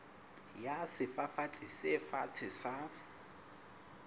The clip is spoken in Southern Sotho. ya sefafatsi se fatshe sa